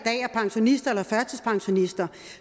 er pensionister eller førtidspensionister